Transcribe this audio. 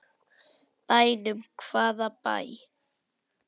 Bænum, hvaða bæ?